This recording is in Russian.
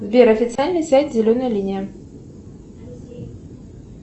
сбер официальный сайт зеленая линия